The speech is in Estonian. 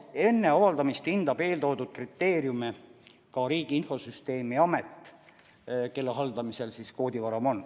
Enne avaldamist hindab eeltoodud kriteeriume ka Riigi Infosüsteemi Amet, kelle hallata koodivaramu on.